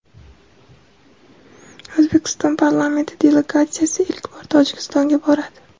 O‘zbekiston parlamenti delegatsiyasi ilk bor Tojikistonga boradi.